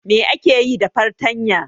Me ake yi da fartanya?